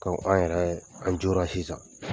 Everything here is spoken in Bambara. Kɔmi an yɛrɛ an jora sisan